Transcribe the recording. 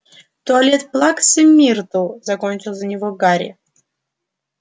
туалет плаксы миртл закончил за него гарри